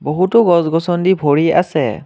বহুতো গছ গছনি ভৰি আছে।